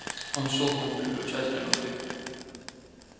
он щёлкнул переключателем и крикнул